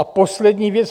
A poslední věc.